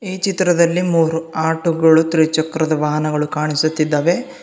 ಈ ಚಿತ್ರದಲ್ಲಿ ಮೂರು ಆಟೋಗಳು ತ್ರಿಚಕ್ರದ ವಾಹನಗಳು ಕಾಣಿಸುತ್ತಿದ್ದವೆ.